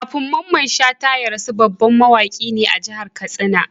Kafin Mamman Shata ya rasu, babban mawaki ne a jahar katsina